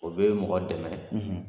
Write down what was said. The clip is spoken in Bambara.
O bɛ mɔgɔ dɛmɛ,